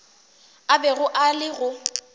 a bego a le go